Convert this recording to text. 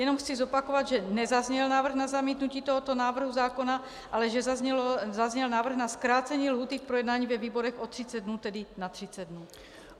Jenom chci zopakovat, že nezazněl návrh na zamítnutí tohoto návrhu zákona, ale že zazněl návrh na zkrácení lhůty k projednání ve výborech o 30 dnů, tedy na 30 dnů.